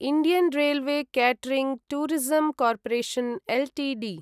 Indian railway catering tourism corporation Ltd